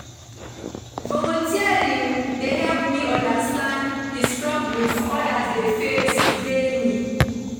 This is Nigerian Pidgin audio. Volunteering dey help me understand di struggles others dey face daily.